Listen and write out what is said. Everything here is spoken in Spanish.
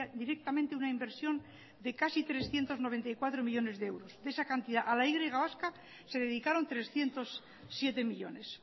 directamente una inversión de casi trescientos noventa y cuatro millónes de euros y de esa cantidad a la y vasca se dedicaron trescientos siete millónes